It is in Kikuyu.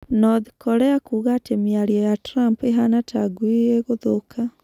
North Korea kuuga ati mĩario ya Trump ĩhaana ta ngui ĩguthũka